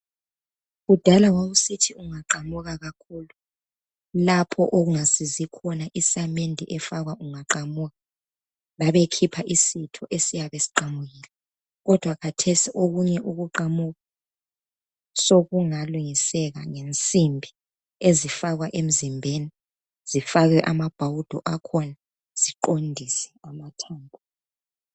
kudala wausithi ungaqamuka kakhulu lapho okungasizi khona isamende efakwa ungaqamuka babekhipha isitho esiyabe siqamukile kodwa khathesi okunye ukuqamuka sokungalungiseka ngensimbi ezifakwa emzimbeni zifakwe amabhawudo akhona kuqondise amathambo